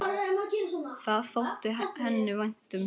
Það þótti henni vænt um.